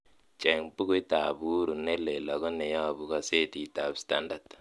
cheng' buguit ab uhuru nelel ago nemoyobu gosetit ab starndard